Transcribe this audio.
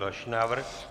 Další návrh.